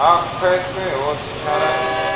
ha khwese ho tshinyala i